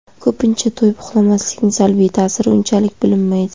Ko‘pincha, to‘yib uxlamaslikning salbiy ta’siri unchalik bilinmaydi.